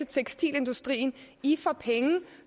tekstilindustrien i får penge